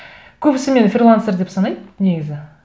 көбісі мені фрилансер деп санайды негізі